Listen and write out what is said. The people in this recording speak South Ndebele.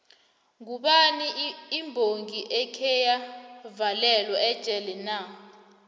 ngubani imbongi ekheya valelwa ejele na